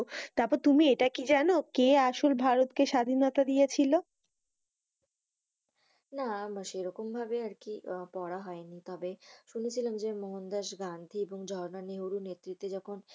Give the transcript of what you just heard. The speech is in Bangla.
তারপর তুমি এটা কি জানো কে আসলে ভারত কে স্বাধীনতা দিয়েছিল? না, সেরকম ভাবে আর কি পড়া হয়নি। তবে শুনেছিলাম যে মহন দাস গান্ধী ও ঝাড়ন নিউরোর নেতৃতে যখন